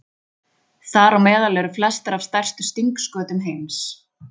Þar á meðal eru flestar af stærstu stingskötum heims.